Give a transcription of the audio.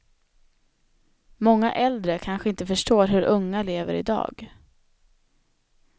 Många äldre kanske inte förstår hur unga lever i dag.